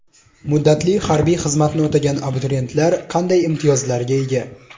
Muddatli harbiy xizmatni o‘tagan abituriyentlar qanday imtiyozlarga ega?.